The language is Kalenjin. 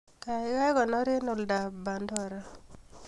Kaikai konor eng oldoab Pandora